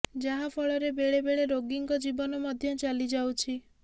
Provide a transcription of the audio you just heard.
ଯାହା ଫଳରେ ବେଳେ ବେଳେ ରୋଗୀଙ୍କ ଜୀବନ ମଧ୍ୟ ଚାଲି ଯାଉଛି